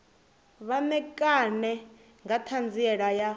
vha ṋekane nga ṱhanziela ya